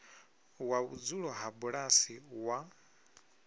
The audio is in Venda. wa vhudzulo ha bulasi wa